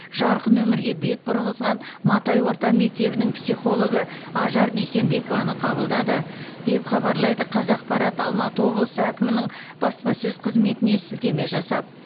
жарқын өмірге бет бұрғызған матай орта мектебінің психологы ажар дүйсенбекованы қабылдады деп хабарлайды қазақпарат алматы облысы әкімінің баспасөз қызметіне сілтеме жасап